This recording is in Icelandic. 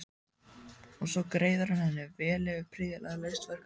Og svo greiðir hann henni vel fyrir prýðilega leyst verkefni.